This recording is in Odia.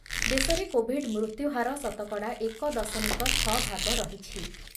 ଦେଶରେ କୋବିଡ୍ ମୃତ୍ୟୁହାର ଶତକଡ଼ା ଏକ ଦଶମିକ ଛଅ ଭାଗ ରହିଛି